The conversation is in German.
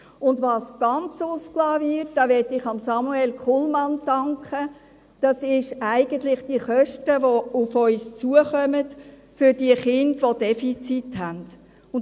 Und was ganz ausgelassen wird – diesbezüglich möchte ich Samuel Kullmann danken –, sind die Kosten, die für die Kinder mit Defiziten auf uns zukommen.